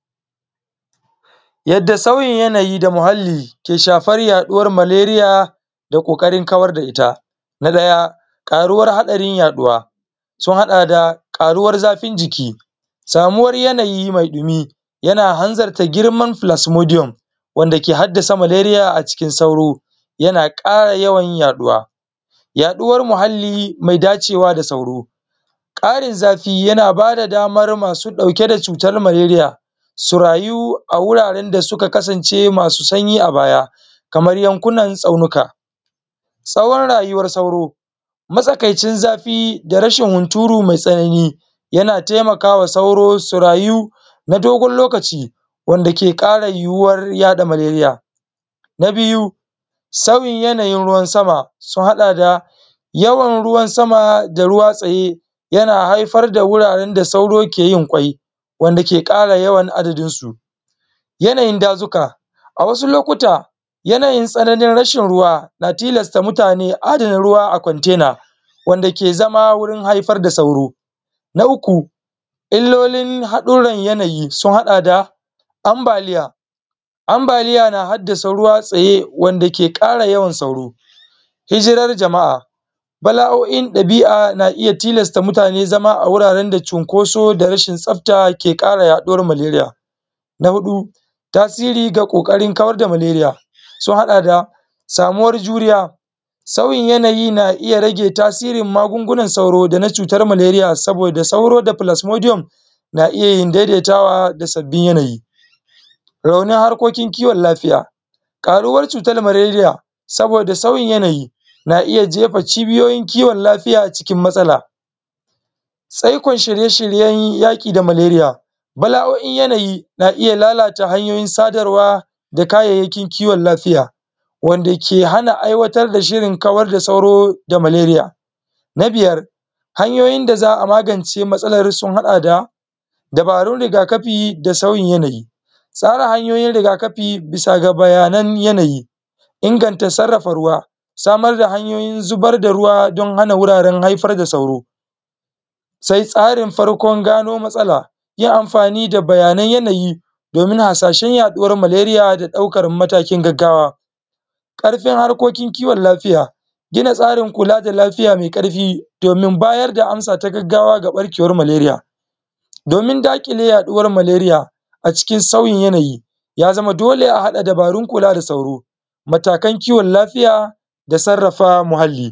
Yadda sauyin yanayi da muhalli bke shafar yaɗuwar maleria da ƙoƙarin kawar da ita saboda ƙaruwar hadarin yaɗuwa sun haɗa da karuwar zafin jiki karuwar yanayi mai ɗimi yan hanzarta girman plasmodium wanda ke haddasa maleria a cikin sauro yana ƙara yawan yaduwa. Yaɗuwar muhalli mai dacewa da sauro, ƙarin zafi yana ba da damar masu dauke da shutar. Maleria su rayu a wuraren da suka kasance masu sanyi a baya kamar yankunan tsaunuka. Tsawon rayuwar sauro matsakaicin zafi da rashin hunturu mai ƙarfi yana taimaka ma sauro su rayu na dogon lokaci wanda ke ƙara yuwuwar yada maleria. Na biyu sauyin yanayin ruwan sama yawan ruwan sama da ruwa tsaye yana haifar da wuraren da sauro ke yin kwai wanda ke kara yawan adadinsu. Yanayin dazuka, a wasu lokuta yanayin tsananin rashin ruwa na tilasta mutane adana ruwa a container wanda ke zama wurin haifar da sauro. Na uku yanayin haɗurar yanayi kamra su ambaliya. Ambaliya na haddasa ruwa da ke tsaye wanda yake ƙara yawan sauro. Hjirar jama'a bala'o'in ɗabi'a na iya tilasta mutane zama cikin wurin da yake da cunkoso da rashin tsafta ke ƙara raɗuwar maleria. Na huɗu tasirin da ƙoƙarin kawar da maleria, sun haɗa da samuwar juriya sauyin yanayi na iya rage tasirin magunguwan sauro da na cutar maleria saboda sauro da plasmodium na yi daidaitawa da sabbin yanayi. Raunin harkokin kiwon lafiya. Karauqar cutar maleria saboda sauyin yanayi, na iya jefa kibiyoyin kiwon lafiya cikin matsala. Tsaikon shirye-shiryen yaki da maleria, bala'o'in yanayi na iya taimakawa ta hanyoyin sadarwa da yanayin kieon lafiya wanda ke hana aiwatar da shirin da kayayyakin kiwon lafiya wanda ke hana aiwatar da shirin kawar da sauro da maleria. Na biyar hanyoyin da za a magance matsalar sun haɗa da: dabaru da riga kafi da sauyin yanayi, tsara hanyoyin riga-kafi bisa ga bayanan yanayi, inganta sarrafa ruwa, bisa ga bayanan yanayi. Inganta sarrafa ruwa, samar da hanyoyin ruwa don hana wuraren haifar da sauro. Sai tsarin farko don gano matsala, yi amfani da bayanai na yanayi don hasashen yaɗuwar maleria da daukar matakin gaggawa. Ƙarfin harkokin kiwon lafiya, gina tsarin kula da lafiya mai ƙarfi domin bayar da amsa ta gaggawa ga ɓarkewar maleria. Wurin dakile yaduwar maleria a cikin sauyin yanayi ya zama dole a hada dabarun kula da sauro. Matakan kiwon lafiya da sarrafa muhalli.